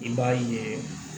I b'a yeee